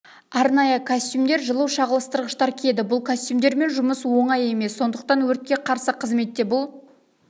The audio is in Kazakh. арнайы костюмдер жылу шағылыстырғыштар киеді бұл костюмдермен жұмыс оңай емес сондықтан өртке қарсы қызметте бұл